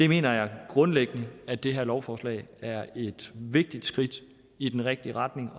mener grundlæggende at det her lovforslag er et vigtigt skridt i den rigtige retning